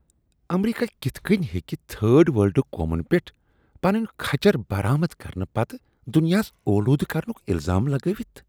امریکہ کتھ کٔنۍ ہٮ۪کہٕ تھرڈ ورلڈ قومن پیٚٹھ پنٕنۍ کچھر برآمد کرنہٕ پتہٕ دنیاہس آلودٕ کرنک الزام لگٲوتھ؟